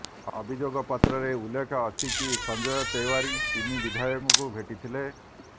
ଅଭିଯୋଗ ପତ୍ରରେ ଉଲ୍ଲେଖ ଅଛି କି ସଞ୍ଜୟ ତେଓ୍ବାରି ତିନି ବିଧାୟକଙ୍କୁ ଭେଟିଥିଲେ